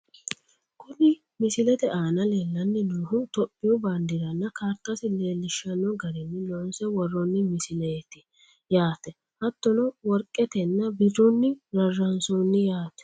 Kuni misilete aana lellanni noohu topiyu baandeeranna kaartasi leellishanno garinni loonse worroonni misileeti yaate, hattono worqetenna birrunni rarraansoonni yaate .